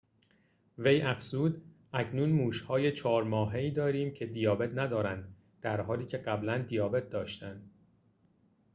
وی افزود اکنون موش‌های ۴ ماهه‌ای داریم که دیابت ندارند در حالی که قبلاً دیابت داشتند